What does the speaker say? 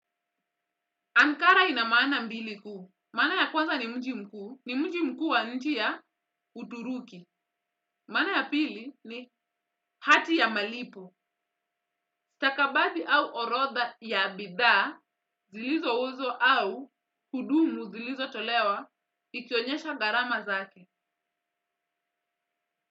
Ankara ina maana mbiliku, maana ya kwanza ni mji mkuu, ni mji mkuu wa nchi ya Uturuki, maana ya pili ni hati ya malipo, stakabathi au orodha ya bidhaa, zilizouzwa au hudumu zilizotolewa, ikionyesha gharama zake.